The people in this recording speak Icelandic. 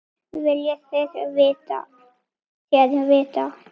Hvað viljið þér vita?